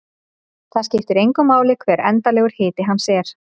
Það skiptir engu máli hver endanlegur hiti hans er.